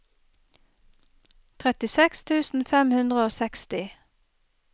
trettiseks tusen fem hundre og seksti